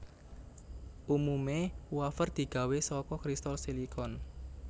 Umumé wafer digawé saka kristal silikon